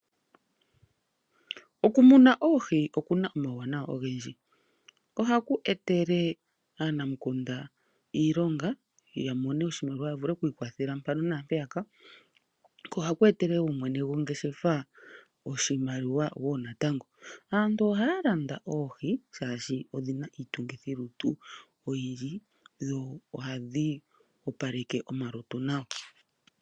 Okumuna oohi okuna omawunawa ogendji, oha ku etele aanamukunda iilonga yamone oshimaliwa yavule oku ikwathela mpaka naampeyaka. Oha ku etele mwene gongeshefa oshimaliwa wo natango. Aantu oha ya landa oohi oshoka oyi na iitungithilutu oyindji noha dhi opaleke omalutu nawa.